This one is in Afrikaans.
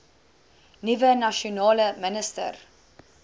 nuwe nasionale minister